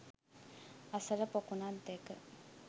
අසල පොකුණක් දැක